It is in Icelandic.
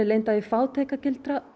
lenda í fátæktargildru